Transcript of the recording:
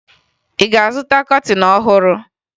Ị ga-azụta kọtịn ọhụrụ?